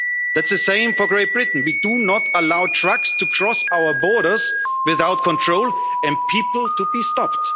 movement. That's the same for great Britain we do not allow trucks to cross our borders without control and people to be